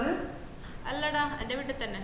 അല്ലടാ എന്റെ വീട്ടി തന്നെ